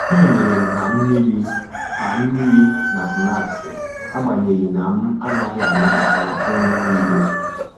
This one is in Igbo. E nyerem ha mmiri ha mmiri na snaksi agbanyeghi na m-anaghị anabata nri n'ile